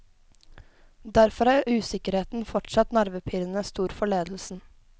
Derfor er usikkerheten fortsatt nervepirrende stor for ledelsen.